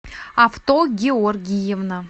авто георгиевна